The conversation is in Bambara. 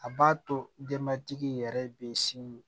A b'a to denbatigi yɛrɛ bɛ sin